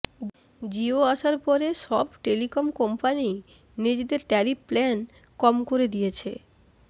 জিও আসার পরে সব টেলিকম কোম্পানিই নিজেদের ট্যারিফ প্ল্যান কম করে দিয়েছে